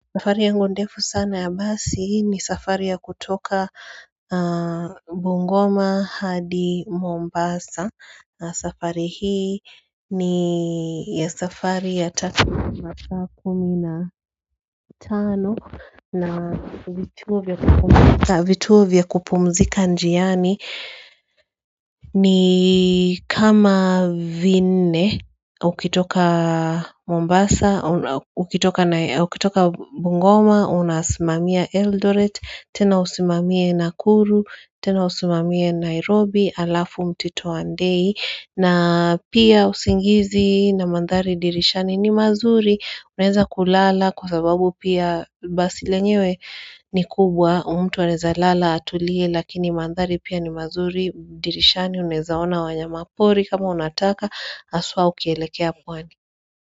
Safari yangu ndefu sana ya basi ni safari ya kutoka Bungoma hadi Mombasa na safari hii ni ya masaa kumi na tano na vituo vya kupumzika njiani ni kama vinne, ukitoka Mombasa, ukitoka Bungoma, unasimamia Eldoret, tena usimamie Nakuru, tena usimamie Nairobi, alafu mtito andei na pia usingizi na mandhari dirishani ni mazuri, unaweza kulala kwa sababu pia basi lenyewe ni kubwa mtu anaweza lala atulie lakini mandhari pia ni mazuri dirishani unawezaona wanyama pori kama unataka haswa ukielekea pwani.